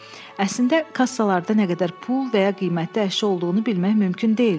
Əslində kassalarda nə qədər pul və ya qiymətli əşya olduğunu bilmək mümkün deyil.